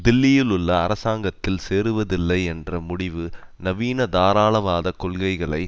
தில்லியிலுள்ள அரசாங்கத்தில் சேருவதில்லை என்ற முடிவு நவீன தாராளவாத கொள்கைகளை